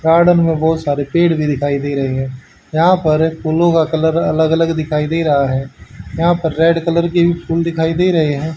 Garden में बहुत सारे पेड़ भी दिखाई दे रहे हैं यहां पर फूलों का कलर अलग अलग दिखाई दे रहा है यहां पर रेड कलर के भी फूल दिखाई दे रहे हैं।